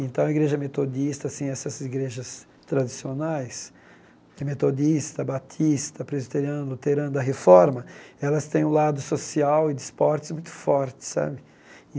Então, a igreja metodista, assim, essas igrejas tradicionais, eh metodista, batista, presoteriano, luterano da reforma, elas têm um lado social e de esportes muito forte, sabe?